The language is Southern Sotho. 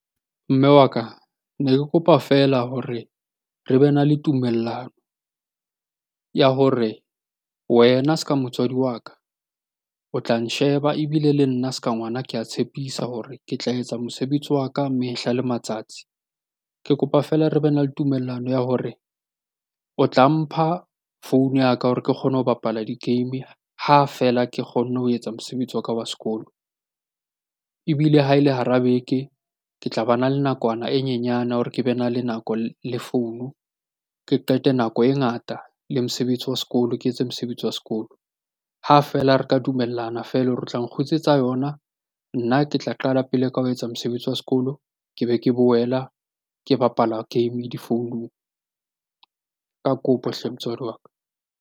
Mme wa ka, ne ke kopa feela hore re be na le tumellano ya hore wena s'ka motswadi wa ka o tla nsheba ebile le nna se ka ngwana ke a tshepisa hore ke tla etsa mosebetsi wa ka mehla le matsatsi. Ke kopa feela re be na le tumellano ya hore o tla mpha founu ya ka hore ke kgone ho bapala di-game ha feela ke kgonne ho etsa mosebetsi wa ka wa sekolo. Ebile ha e le hara beke, ke tla bana le nakwana e nyenyane hore ke be na le nako le founu. Ke qete nako e ngata le mosebetsi wa sekolo, ke etse mosebetsi wa sekolo ha feela re ka dumellana feela hore o tla nkgutlisetsa yona. Nna ke tla qala pele ka ho etsa mosebetsi wa sekolo, ke be ke boela ke bapala game difounung. Ka kopo hle motswadi wa ka.